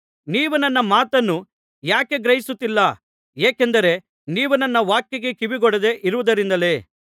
ನೀವು ನನ್ನ ಮಾತನ್ನು ಯಾಕೆ ಗ್ರಹಿಸುತ್ತಿಲ್ಲ ಏಕೆಂದರೆ ನೀವು ನನ್ನ ವಾಕ್ಯಕ್ಕೆ ಕಿವಿಗೊಡದೆ ಇರುವುದರಿಂದಲೇ